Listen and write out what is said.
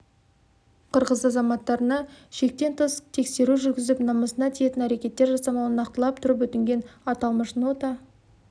қырғыз азаматтарына шектен тыс тексеру жүргізіп намысына тиетін әрекеттер жасамауын нақтылап тұрып өтінген аталмыш нота